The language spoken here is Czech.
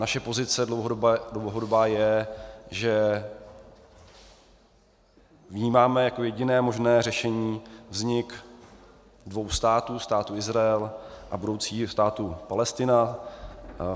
Naše pozice dlouhodobá je, že vnímáme jako jediné možné řešení vznik dvou států, Státu Izrael a budoucího státu Palestina.